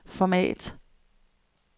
format